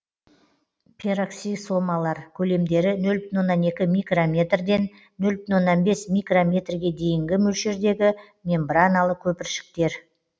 пероксисомалар көлемдері нөл бүтін оннан екі микрометрден нөл бүтін оннан бес микрометрге дейінгі мөлшердегі мембраналы көпіршіктер